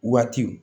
Waatiw